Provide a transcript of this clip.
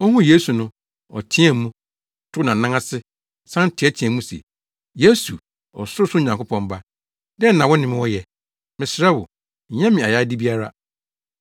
Ohuu Yesu no, ɔteɛɛ mu, kotow nʼanan ase san teɛteɛɛ mu se, “Yesu, Ɔsorosoro Nyankopɔn Ba, dɛn na wo ne me wɔ yɛ? Mesrɛ wo, nyɛ me ayayade biara.”